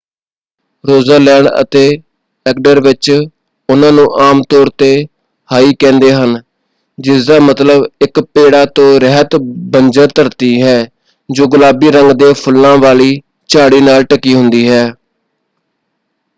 ਰੋਜਾਲੈਂਡ ਅਤੇ ਐਗਡਰ ਵਿੱਚ ਉਹਨਾਂ ਨੂੰ ਆਮ ਤੌਰ ‘ਤੇ ਹਾਈ” ਕਹਿੰਦੇ ਹਨ ਜਿਸਦਾ ਮਤਲਬ ਇੱਕ ਪੇੜਾਂ ਤੋਂ ਰਹਿਤ ਬੰਜਰ ਧਰਤੀ ਹੈ ਜੋ ਗੁਲਾਬੀ ਰੰਗ ਦੇ ਫੁੱਲਾਂ ਵਾਲੀ ਝਾੜੀ ਨਾਲ ਢਕੀ ਹੁੰਦੀ ਹੈ।